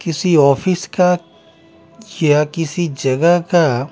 किसी ऑफिस का या किसी जगह का --